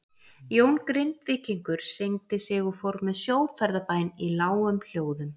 Jón Grindvíkingur signdi sig og fór með sjóferðabæn í lágum hljóðum.